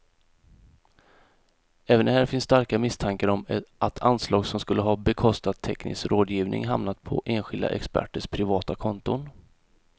Även här finns starka misstankar om att anslag som skulle ha bekostat teknisk rådgivning hamnat på enskilda experters privata konton.